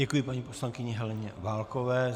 Děkuji paní poslankyni Heleně Válkové.